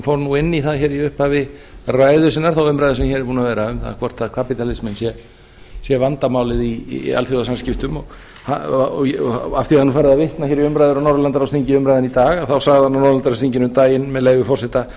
fór nú inn í það hér í upphafi ræðu sinnar þá umræðu sem hér er búin að vera um hvort kapitalismen sé vandamálið í alþjóðasamskiptum af því að það er nú farið að vitna hér í umræður á norðurlandaráðsþinginu í dag